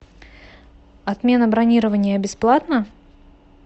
отмена бронирования бесплатна